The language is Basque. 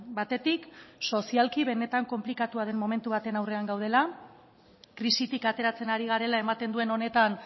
batetik sozialki benetan konplikatua den momentu baten aurrean gaudela krisitik ateratzen ari garela ematen duen honetan